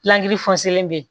bɛ yen